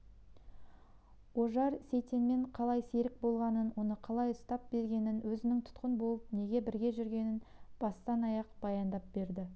ожар сейтенмен қалай серік болғанын оны қалай ұстап бергенін өзінің тұтқын болып неге бірге жүргенін бастан-аяқ баяндап берді